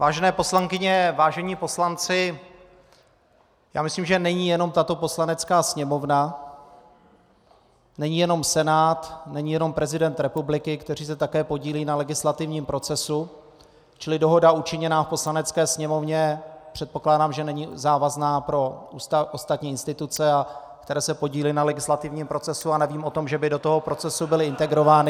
Vážené poslankyně, vážení poslanci, já myslím, že není jenom tato Poslanecká sněmovna, není jenom Senát, není jenom prezident republiky, kteří se také podílejí na legislativním procesu, čili dohoda učiněná v Poslanecké sněmovně, předpokládám, že není závazná pro ostatní instituce, které se podílí na legislativním procesu, a nevím o tom, že by do tohoto procesu byly integrovány.